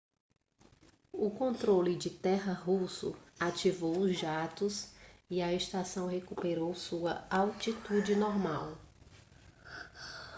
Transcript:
o controle de terra russo ativou os jatos e a estação recuperou sua altitude normal